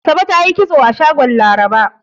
Asabe ta yi kitso a shagon Laraba.